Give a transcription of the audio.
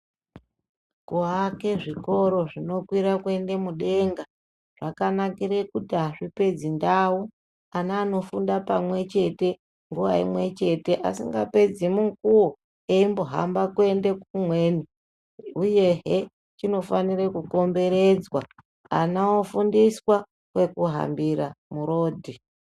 Kuake zvikoro zvinokwira kuende mudenga zvakanakire kuti azvipedzi ndau ana anofunda pamwechete, nguwa imwechete asingapedzi mukuwo embohamba kuende kumweni uyehe chinofanire kukomberedzwa ana ofundiswa pekuhambira murodhi.